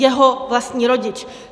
Jeho vlastní rodič.